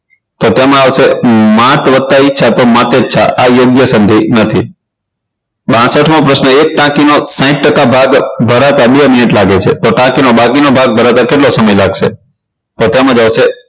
તો તેમાં આવશે માત વત્તા ઈચ્છા તો માતેચ્છા આ યોગ્ય સંધિ નથી બાસઠ મો પ્રશ્ન એક ટાંકીનો સાઈઠ ટકા ભાગ ભરાતા બે મિનિટ લાગે છે તો ટાંકીને બાકીનો ભાગ ભરાતા કેટલો સમય લાગશે તો તેમાં આવશે